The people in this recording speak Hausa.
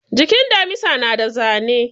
Jikin damisa na da zane